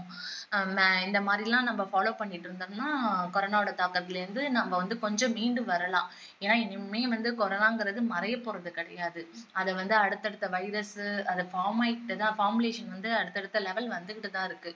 அஹ் மா~இந்த மாதிரியெல்லாம் நம்ம follow பண்ணிட்டு இருந்தோம்னா corona வோட தாக்கத்துல இருந்து நம்ம வந்து கொஞ்சம் மீண்டு வரலாம் ஏன்னா இது இனிமேல் வந்து corona ங்கிறது மறையபோறது கிடையாது அது வந்து அடுத்தடுத்த virus அது form ஆயிட்டே தான் formulation வந்து அடுத்தடுத்த level வந்துகிட்டுதான் இருக்கு